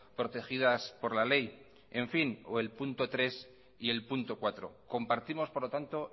protegidas por la ley en fin o el punto tres y el punto cuatro compartimos por lo tanto